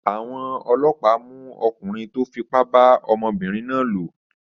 Àwọn ọlọ́pàá mú ọkùnrin tó fipá bá ọmọbìnrin náà lò?